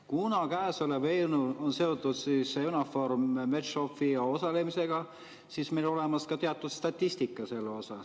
Kuna käesolev eelnõu on seotud EUNAVFOR Med/Sophial osalemisega, siis meil on olemas ka teatud statistika selle kohta.